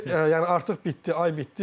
Yəni artıq bitdi, ay bitdi.